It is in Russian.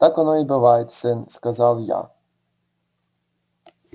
так оно и бывает сын сказал я